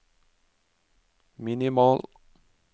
minimal